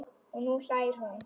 Og nú hlær hún.